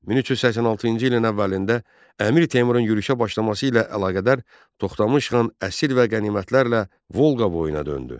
1386-cı ilin əvvəlində Əmir Teymurun yürüşə başlaması ilə əlaqədar Toxtamış xan əsir və qənimətlərlə Volqa boyuna döndü.